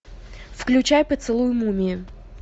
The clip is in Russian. включай поцелуй мумии